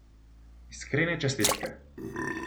Iskrene čestitke!